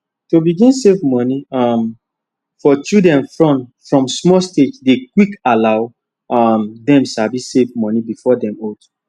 to begin save money um for children front from small stagedey quick allow um them sabi save money before them old